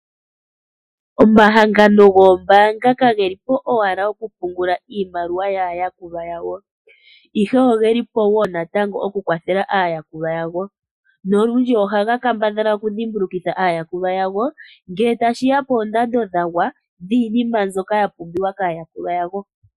Omahangano goombaanga ka geli po owala oku pungula iimaliwa yaa yakulwa yawo, ihe ogeli po wo natango oku kwathela aayakulwa yawo nolundji ohaga kambadhala oku dhimbulukitha aayakulwa yago ngele tashi ya poondando dhagwa, dhiinima mbyoka ya pumbiwa kaayakulwa yawo.